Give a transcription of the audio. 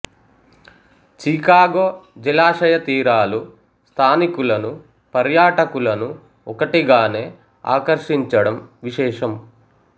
Chicago జలాశయ తీరాలు స్థానికులను పర్యాటకులను ఒకటిగానే ఆకర్షించడం విశేషం